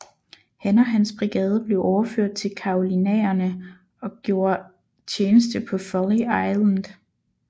Han og hans brigade blev overført til Carolinaerne og gjorde tjeneste på Folly Island